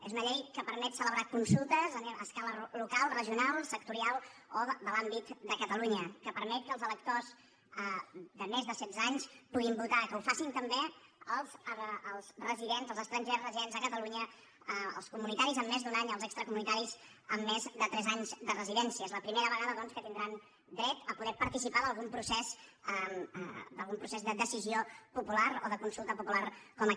és una llei que permet celebrar consultes a escala local regional sectorial o de l’àmbit de catalunya que permet que els electors de més de setze anys puguin votar que ho facin també els estrangers residents a catalunya els comunitaris amb més d’un any els extracomunitaris amb més de tres anys de residència és la primera vegada doncs que tindran dret a poder participar d’algun procés de decisió popular o de consulta popular com aquest